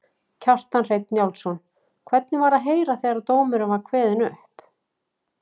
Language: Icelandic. Kjartan Hreinn Njálsson: Hvernig var að heyra þegar dómurinn var kveðinn upp?